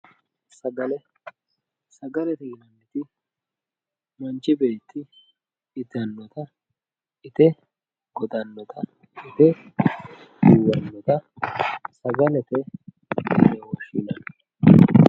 sagale sagalete yineemmoti manchi beetti itannoho ite goxannota ite duuwannota sagalete yine woshshinanni.